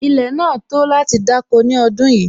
Ilẹ̀ náà tó láti dáko ní ọdún yìí